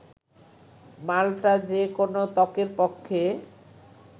মাল্টা যে কোনো ত্বকের পক্ষে